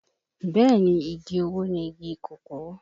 Bẹ́ẹ̀ ni, igi owó ni igi kòkó